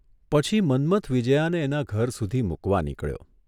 પછી મન્મથ વિજ્યાને એના ઘર સુધી મૂકવા નીકળ્યો.